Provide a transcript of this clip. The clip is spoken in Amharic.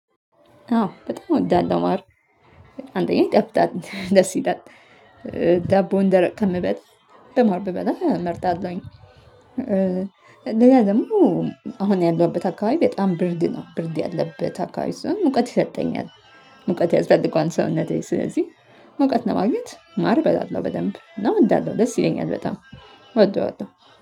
አዎ በጣም እወዳለሁ ማር አንደኛ ይጣፍጣል ደስ ይላል። ዳቦን ደረቅ ከምበላ በማር ብበላ እመርጣለሁኝ። እንደገና ደግሞ አሁን ያለሁበት አካባቢ በጣም ብርድ ነው ብርድ ያለበት አካባቢ ሰለሆነ ሙቀት ይሰጠኛል። ሙቀት ያስፈልገዋል ሰውነቴ ስለዚህ ሙቀት ለማግኘት ማር እበላለሁ በደንብ እና እወዳለሁ ደስ ይለኛል በጣም እወደዋለሁ።